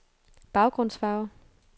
baggrundsfarve